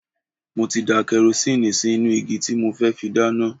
Mo ti da karosíìnì sí inú igi tí mo fẹ́ fi dáná.